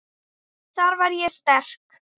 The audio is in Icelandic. Þar var ég sterk.